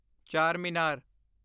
Charminar